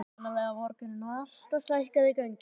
Svona leið morgunninn og alltaf stækkuðu göngin.